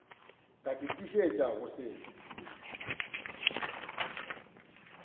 ka ke tiišetša go se